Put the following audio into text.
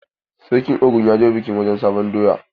Sarkin Ogun ya je wurin bikin sabon doya?